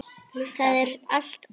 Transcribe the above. Það er allt ónýtt.